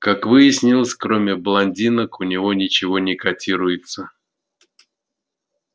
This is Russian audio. как выяснилось кроме блондинок у него ничего не котируется